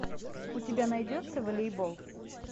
у тебя найдется волейбол